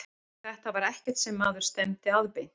Þetta var ekkert sem maður stefndi að beint.